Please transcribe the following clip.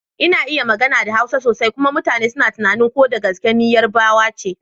Zan iya magana da Hausa sosai kuma mutane suna tunanin ko da gaske ni yar Yarbawa ce?